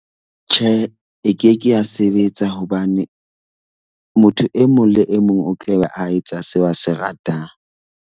Tjhe, e keke ya sebetsa hobane motho e mong le e mong o tla be a etsa seo a se ratang.